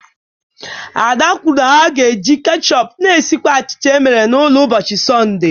Ada kwuru na ha ga-eji ketchup na-esikwa achịcha e mere n'ụlọ n'ụbọchị Sọnde.